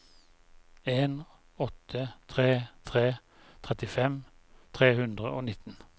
en åtte tre tre trettifem tre hundre og nitten